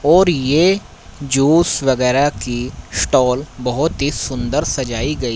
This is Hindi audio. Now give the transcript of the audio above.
और ये जोश वगैरह की स्टॉल बहुत ही सुंदर सजाई गई।